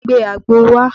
Gbe àgbo wá!